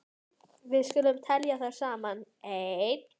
Við skulum telja þær saman: Ein.